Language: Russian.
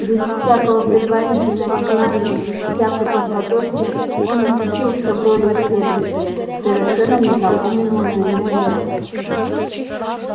без всякого предварительного знания без всякой подготовки он очутился в роли исследователя совершенно незнакомого ему мира